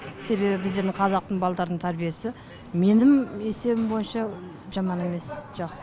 себебі біздердің қазақтың балдардың тәрбиесі менің есебім бойынша жаман емес жақсы